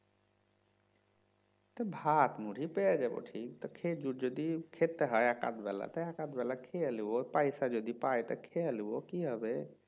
ভাত মুড়ি পেয়ে যাবো ঠিক খেজুর যদি খেতে হয় এক আধ বেলাতে এক আধ বেলা খেয়ে লিব পয়সা যদি পাই তো খেয়ে লিব কি হবে